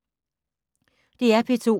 DR P2